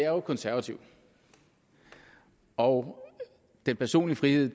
jo konservativ og den personlige frihed